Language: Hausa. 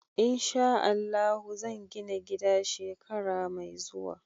In sha Allahu zan gina gida shekara mai zuwa.